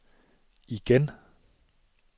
igen